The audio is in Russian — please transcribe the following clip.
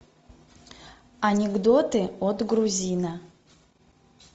анекдоты от грузина